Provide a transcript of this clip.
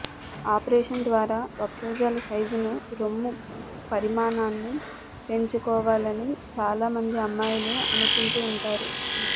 operation ద్వారా వక్షోజాల సైజును రొమ్ము పరిమాణాన్ని పెంచుకోవాలని చాలా మంది అమ్మాయిలు అనుకుంటూ ఉంటారు